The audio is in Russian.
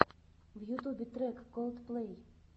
в ютубе трек колдплэй